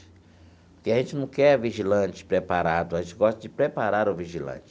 Porque a gente não quer vigilante preparado, a gente gosta de preparar o vigilante.